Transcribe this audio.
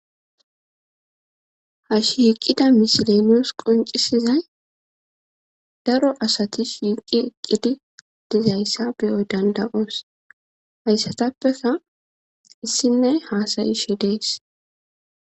ha shiiqqida misilenos qoncisizay daro asatis shiiqqi eqqidi dizayssa biyoy danda7oos hayssatappeka issinne haasayishe dees